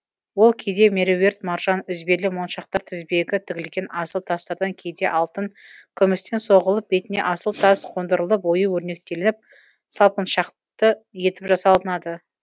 ол кейде меруерт маржан үзбелі моншақтар тізбегі тігілген асыл тастардан кейде алтын күмістен соғылып бетіне асыл тас қондырылып ою өрнектелініп салпыншақты етіп жасалынады